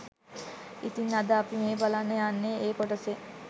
ඉතින් අද අපි මේ බලන්න යන්නේ ඒ කොටසෙන්